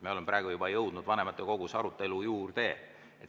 Me oleme juba jõudnud vanematekogu arutelu juurde.